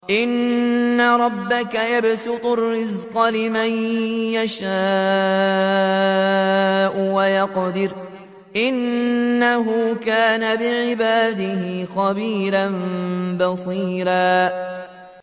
إِنَّ رَبَّكَ يَبْسُطُ الرِّزْقَ لِمَن يَشَاءُ وَيَقْدِرُ ۚ إِنَّهُ كَانَ بِعِبَادِهِ خَبِيرًا بَصِيرًا